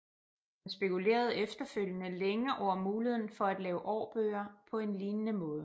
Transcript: Han spekulerede efterfølgende længe over muligheden for at lave årbøger på en lignende måde